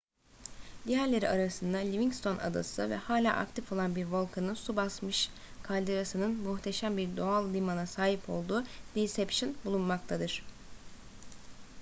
diğerleri arasında livingston adası ve hala aktif olan bir volkanın su basmış kalderasının muhteşem bir doğal limana sebep olduğu deception bulunmaktadır